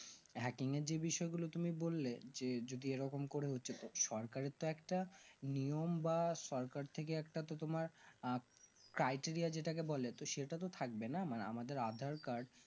hacking এর যে বললে বিষয় গুলো তুমি বললে যে যদি এরকম করে সরকারের তো একটা নিয়ম বা সরকার থেকে একটা তো তোমার আঃ taiteriya যেটাকে বলে তো সেটা তো থাকবেনা মানে আমাদের aadhaar card